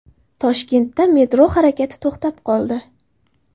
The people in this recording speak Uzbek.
Toshkentda metro harakati to‘xtab qoldi.